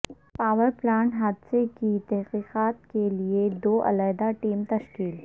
power plant حادثہ کی تحقیقات کیلئے دو علحدہ ٹیمیں تشکیل